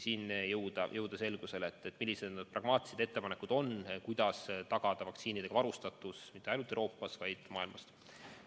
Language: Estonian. Tuleb jõuda selgusele, millised need pragmaatilised ettepanekud on ja kuidas tagada vaktsiinidega varustatus mitte ainult Euroopas, vaid kogu maailmas.